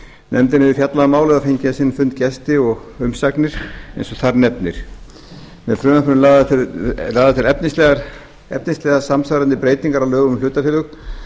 nefndin hefur fjallað um málið og fengið á sinn fund gesti og umsagnir eins og þar nefnir með frumvarpinu eru lagðar til efnislega samsvarandi breytingar á lögum um hlutafélög